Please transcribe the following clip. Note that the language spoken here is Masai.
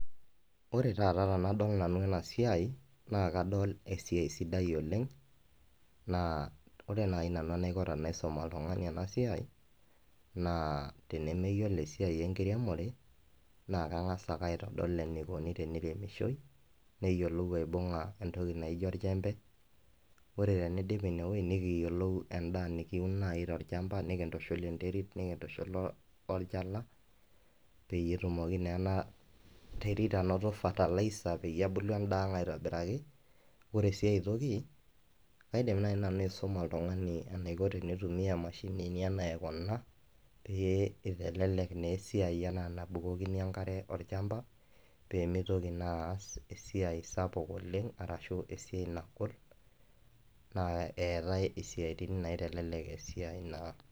Wore taata tenadol nanu ena siai, naa kadol esiai sidai oleng'. Naa wore nai nanu enaiko tenaisum oltungani ena siai, naa tenemeyiolo esiai enkiremore, naa kangas aitodol enikuni teniremishoi, neyiolou aibunga entoki naijo orjembe, wore pee iindip inie woji nikiyiolou endaa nikiun naai tolchamba nikintushul enterit nikintushul olchala, peyie etumoki naa ena terit ainoto fertilizer peyie ebulu endaa ang' aitobiraki. Wore sii aitoki, kaidim naai nanu aisuma oltungani eniko tenitumia emashinini enaa kuna pee itelelek naa esiai enaa enabukokini enkare olchamba, pee mitoki naa ass esiai sapuk oleng', arashu esiai nagol naa eetae isiatin naitelelek esiai naa